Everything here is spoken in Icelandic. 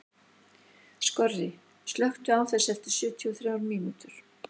Skorri, slökktu á þessu eftir sjötíu og þrjár mínútur.